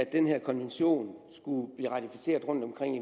den her konvention skulle blive ratificeret rundtomkring i